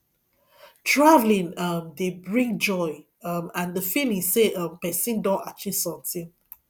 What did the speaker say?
traveling um dey bring joy um and the feeling sey um person don achieve sometin